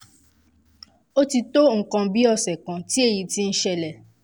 ó ó ti tó nǹkan bí ọ̀sẹ̀ kan tí èyí ti ń ṣẹlẹ̀